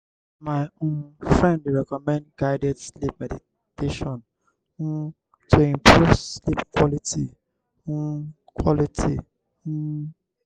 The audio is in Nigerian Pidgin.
my um friend dey recommend guided sleep meditation um to improve sleep quality. um quality. um